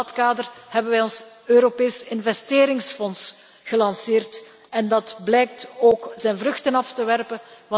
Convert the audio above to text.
In dat kader hebben wij ons Europees investeringsfonds gelanceerd en dat blijkt ook zijn vruchten af te werpen.